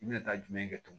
I bɛna taa jumɛn kɛ tugun